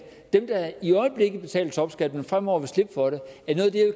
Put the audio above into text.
dem der i øjeblikket betaler topskat men fremover vil slippe for det